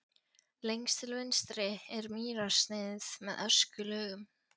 Lengst til vinstri er mýrarsniðið með öskulögum.